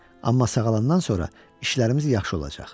Amma sağalandan sonra işlərimiz yaxşı olacaq.